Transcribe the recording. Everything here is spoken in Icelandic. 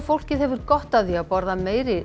fólkið hefur gott af því að borða